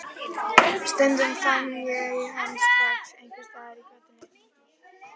Stundum fann ég hann strax einhvers staðar í götunni.